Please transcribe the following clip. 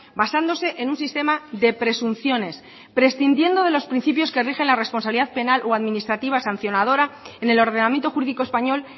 basándose en un sistema de presunciones prescindiendo de los principios que rigen la responsabilidad penal o administrativa sancionadora en el ordenamiento jurídico español